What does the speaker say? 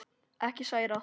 Ekki særa.